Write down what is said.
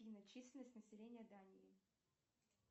афина численность населения дании